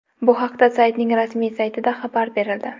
Bu haqda saytning rasmiy saytida xabar berildi .